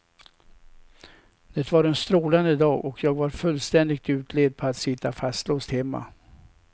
Det var en strålande dag och jag var fullständigt utled på att sitta fastlåst hemma.